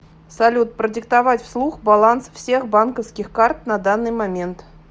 салют продиктовать вслух баланс всех банковских карт на данный момент